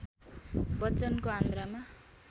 बच्चनको आन्द्रामा